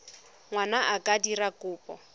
ngwana a ka dira kopo